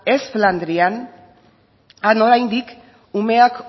ez flandrian han oraindik umeak